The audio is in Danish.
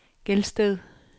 Gelsted